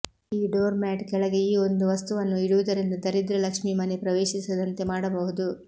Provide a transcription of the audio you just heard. ಈ door mat ಕೆಳಗೆ ಈ ಒಂದು ವಸ್ತುವನ್ನು ಇಡುವುದರಿಂದ ದರಿದ್ರ ಲಕ್ಷ್ಮೀ ಮನೆ ಪ್ರವೇಶಿಸದಂತೆ ಮಾಡಬಹುದು